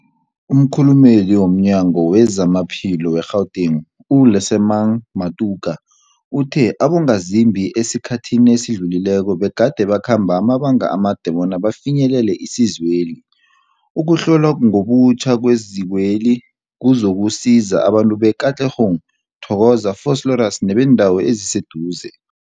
Umkhulumeli womNyango weZamaphilo we-Gauteng, u-Lesemang Matuka uthe abongazimbi esikhathini esidlulileko begade bakhamba amabanga amade bona bafinyelele isizweli. Ukuhlonywa ngobutjha kwezikweli kuzokusiza abantu be-Katlehong, Thokoza, Vosloorus nebeendawo eziseduze.